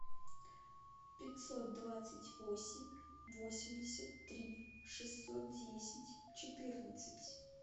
пятьсот двадцать восемь восемьдесят три шестьсот десять четырнадцать